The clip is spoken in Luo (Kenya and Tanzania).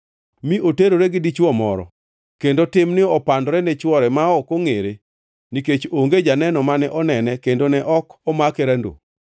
mi oterore gi dichwo moro, kendo timni opandore ne chwore ma ok ongʼere (nikech onge janeno mane onene kendo ne ok omake randoo),